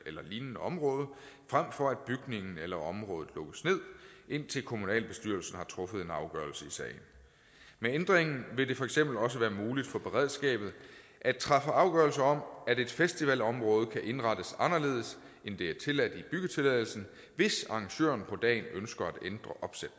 eller et lignende område frem for at bygningen eller området lukkes ned indtil kommunalbestyrelsen har truffet en afgørelse i sagen med ændringen vil det for eksempel også være muligt for beredskabet at træffe afgørelse om at et festivalområde kan indrettes anderledes end det er tilladt ifølge byggetilladelsen hvis arrangøren på dagen ønsker